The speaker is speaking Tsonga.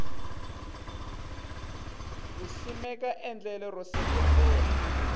ku simeka endlelo ro seketela